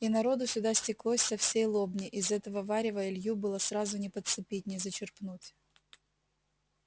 и народу сюда стеклось со всей лобни из этого варева илью было сразу не подцепить не зачерпнуть